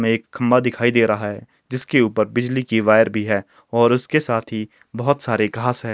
हमे एक खंबा दिखाई दे रहा है जिसके ऊपर बिजली की वायर भी है और उसके साथ ही बहोत सारे घास है।